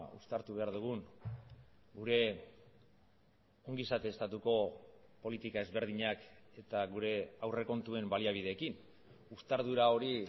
uztartu behar dugun gure ongizate estatuko politika ezberdinak eta gure aurrekontuen baliabideekin uztardura hori